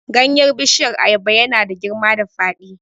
Ganyen bishiyar ayaba ya na da girma da faɗi